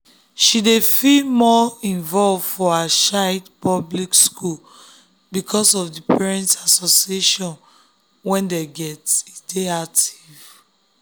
she dey feel more involve for her child public school because of the parent associations wey dem get dey active